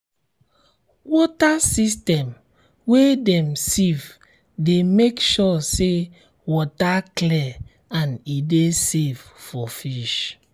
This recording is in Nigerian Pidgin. water system wey dem sieve de make sure say water clear and e de safe for fish